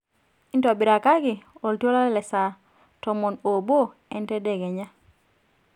intobirakaki oltuala le saa tomon oobo ee entadekeya